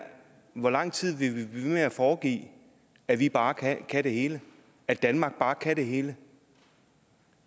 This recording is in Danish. hvor lang tid vil vi ved med at foregive at vi bare kan kan det hele at danmark bare kan det hele